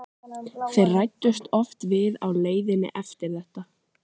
Þeir ræddust oft við á leiðinni eftir þetta.